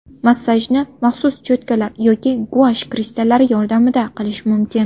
Massajni maxsus cho‘tkalar yoki guash kristallari yordamida qilish mumkin.